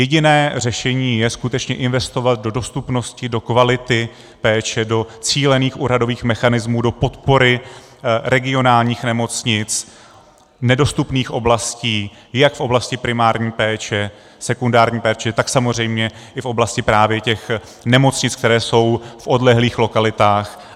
Jediné řešení je skutečně investovat do dostupnosti, do kvality péče, do cílených úhradových mechanismů, do podpory regionálních nemocnic, nedostupných oblastí jak v oblasti primární péče, sekundární péče, tak samozřejmě i v oblasti právě těch nemocnic, které jsou v odlehlých lokalitách.